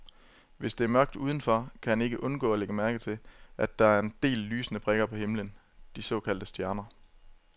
Hvis der er mørkt udenfor, kan han ikke undgå at lægge mærke til, at der er en del lysende prikker på himlen, de såkaldte stjerner.